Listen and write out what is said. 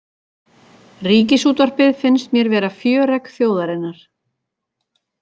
Ríkisútvarpið finnst mér vera fjöregg þjóðarinnar